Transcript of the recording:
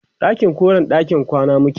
ɗakin koren ɗakin kwana muke